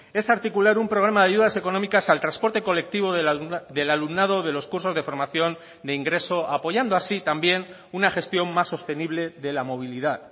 es articular un programa de ayudas económicas al transporte colectivo del alumnado de los cursos de formación de ingreso apoyando así también una gestión más sostenible de la movilidad